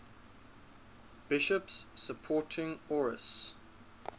bishops supporting arius